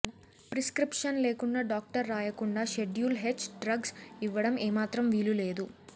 prescription లేకుండా doctor రాయకుండా schedule H drugs ఇవ్వడం ఏమాత్రం వీలు లేదు